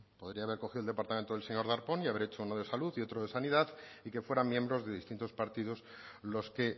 podría haber cogido el departamento del señor darpón y haber hecho uno de salud y otro de sanidad y que fueran miembros de distintos partidos los que